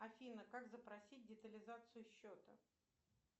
афина как запросить детализацию счета